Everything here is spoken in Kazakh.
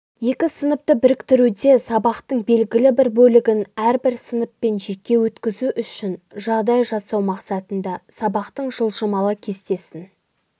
екі сыныпты біріктіруде сабақтың белгілі бір бөлігін әрбір сыныппен жеке өткзу үшін жағдай жасау мақсатында сабақтың жылжымалы кестесін